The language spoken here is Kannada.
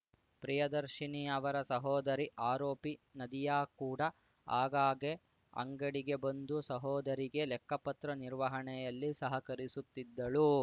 ಪ್ರಿಯದರ್ಶಿನಿ ಅವರ ಸಹೋದರಿ ಆರೋಪಿ ನದಿಯಾ ಕೂಡ ಆಗಾಗ್ಗೆ ಅಂಗಡಿಗೆ ಬಂದು ಸಹೋದರಿಗೆ ಲೆಕ್ಕಪತ್ರ ನಿರ್ವಹಣೆಯಲ್ಲಿ ಸಹಕರಿಸುತ್ತಿದ್ದಳು